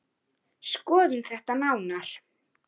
Skoðum þetta nánar